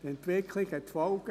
Die Entwicklung hat Folgen: